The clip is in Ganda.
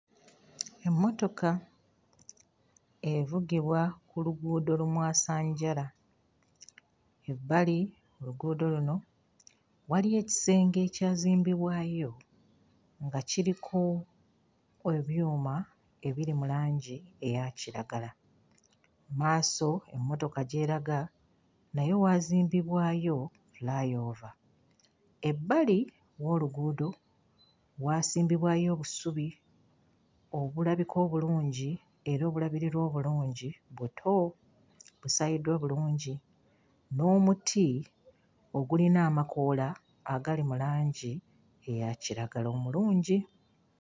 Emmotoka evugibwa ku luguudo lumwasanjala. Ebbali oluguudo luno waliyo ekisenge ekyazimbibwayo nga kiriko ebyuma ebiri mu langi eya kiragala. Mu maaso emmotoka gy'eraga nayo waazimbibwayo fly-over. Ebbali w'oluguudo waasimbibwayo obusubi obulabika obulungi era obulabirirwa obulungi; buto, busaayiddwa bulungi, n'omuti ogulina amakoola agali mu langi eya kiragala omulungi.